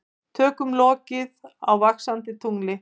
Tökum lokið á Vaxandi tungli